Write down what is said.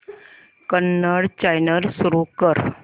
Kannada channel सुरू कर